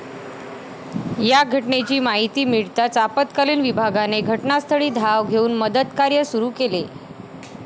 या घटनेची माहिती मिळताच आपतकालीन विभागाने घटनास्थळी धाव घेऊन मदतकार्य सुरू केले.